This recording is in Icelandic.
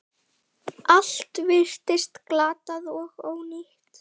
Allt virtist glatað og ónýtt.